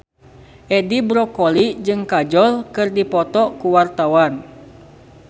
Edi Brokoli jeung Kajol keur dipoto ku wartawan